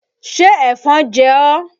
Ṣé ẹ̀fọn jẹ ọ́?